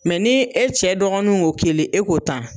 nii e cɛ dɔgɔnunw ŋo kelen e ko tan